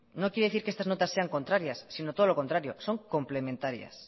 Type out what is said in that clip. no quiere decir que estas notas sean contrarias sino todo lo contrario son complementarias